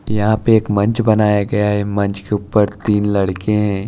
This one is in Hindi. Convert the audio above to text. यहां पे एक मंच बनाया गया है मंच के ऊपर तीन लड़के हैं।